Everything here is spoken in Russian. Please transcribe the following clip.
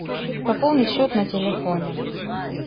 пополнить счет на телефоне